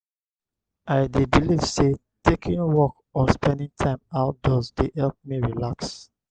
i dey believe say taking walk or spending time outdoors dey help me relax.